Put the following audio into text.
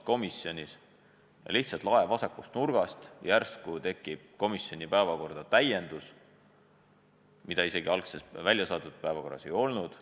Siis aga lihtsalt lae vasakust nurgast järsku tekib komisjoni päevakorda täiendus, mida algses väljasaadetud päevakorras ei olnud.